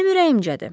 Mənim ürəyimcədir.